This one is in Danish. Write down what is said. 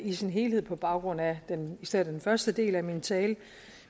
i sin helhed på baggrund af især den første del af min tale